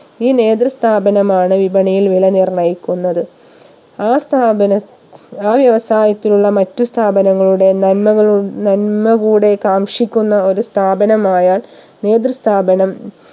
ഈ നേതൃ സ്ഥാപനമാണ് വിപണിയിൽ വില നിർണ്ണയിക്കുന്നത് ആ സ്ഥാപന ആ വ്യവസായത്തിലുള്ള മറ്റു സ്ഥാപങ്ങളുടെ നന്മകളു നന്മ കൂടെ കാംക്ഷിക്കുന്ന ഒരു സ്ഥാപനമായാൽ നേതൃ സ്ഥാപനം